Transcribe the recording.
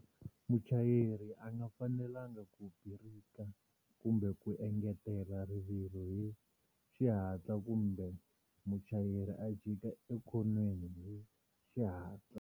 Muchayeri a nga fanelangi ku birika kumbe ku engetela rivilo hi xihatla kumbe muchayeri a jika ekhoniweni hi xihatla.